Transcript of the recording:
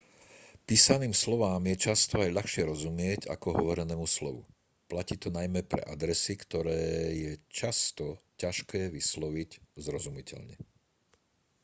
písaným slovám je často aj ľahšie rozumieť ako hovorenému slovu platí to najmä pre adresy ktoré je často ťažké vysloviť zrozumiteľne